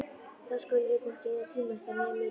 Þá skuluð þið hvorki eyða tíma ykkar né mínum.